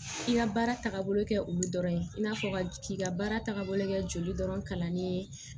I ka baara tagabolo kɛ olu dɔrɔn ye i n'a fɔ ka k'i ka baara tagabolo kɛ joli dɔrɔn kalani ye